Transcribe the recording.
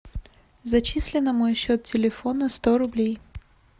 зачисли на мой счет телефона сто рублей